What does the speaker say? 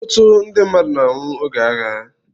Ọtụtụ ndị mmadụ na-anwụ oge agha.